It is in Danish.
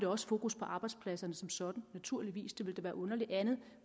også fokus på arbejdspladser som sådan naturligvis det ville da være underligt andet